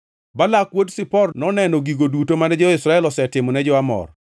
Balak wuod Zipor noneno gigo duto mane jo-Israel osetimo ni jo-Amor,